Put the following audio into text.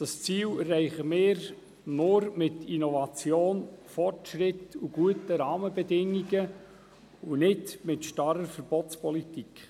Dieses Ziel erreichen wir nur mit Innovation, Fortschritt und guten Rahmenbedingungen, und nicht mit einer starren Verbotspolitik.